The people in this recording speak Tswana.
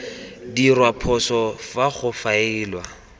dirwa phoso fa go faelwa